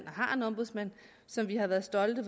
og har en ombudsmand som vi har været stolte